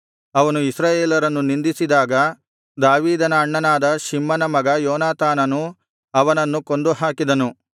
ಅವನು ಇಸ್ರಾಯೇಲರನ್ನು ನಿಂದಿಸಿದಾಗ ದಾವೀದನ ಅಣ್ಣನಾದ ಶಿಮ್ಮನ ಮಗ ಯೋನಾತಾನನು ಅವನನ್ನು ಕೊಂದುಹಾಕಿದನು